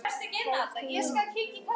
Kærastinn minn úthugsaði